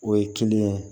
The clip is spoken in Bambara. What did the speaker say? O ye kelen ye